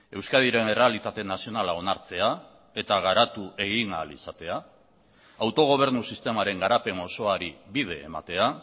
euskadiren errealitate nazionala onartzea eta garatu egin ahal izatea autogobernu sistemaren garapen osoari bide ematea